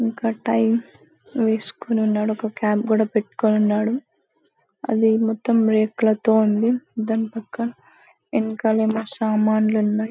ఇంకా టై వేసుకొని ఉన్నాడు ఒక క్యాప్ గూడా పెట్టుకొని ఉన్నాడు అది మొత్తం రేర్ కలర్ తో ఉంది దాని పక్క ఎనకల ఏమో సామాన్లు ఉన్నాయి